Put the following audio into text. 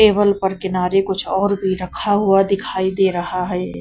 Table पर किनारे कुछ और भी रखा हुआ दिखाई दे रहा है।